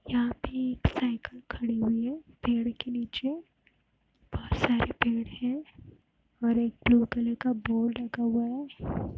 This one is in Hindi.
यहाँ की साइकिल खड़ी हुई है पेड़ के नीचे बहोत सारे पेड़ है और एक ब्लू कलर का बोर्ड लगा हुआ है।